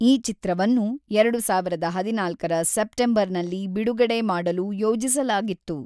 ಈ ಚಿತ್ರವನ್ನು ಎರಡು ಸಾವಿರದ ಹದಿನಾಲ್ಕರ ಸೆಪ್ಟೆಂಬರ್‌ನಲ್ಲಿ ಬಿಡುಗಡೆ ಮಾಡಲು ಯೋಜಿಸಲಾಗಿತ್ತು.